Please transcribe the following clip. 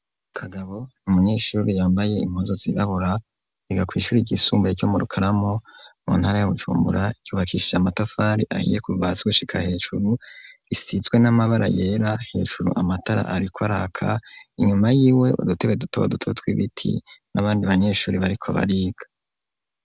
Kagabo n’umunyeshuri yambaye impuzu zibabura riga ku ishuri ryisumbuye ryo mu rukaramu mu ntara ya bujumbura icyubakishije amatafari ahiye kubibazi gushika hejuru risitswe n'amabara yera hejuru amatara ariko araka inyuma y'iwe udutebe dutoba duto tw'ibiti n'abandi banyeshuri bariko bariga.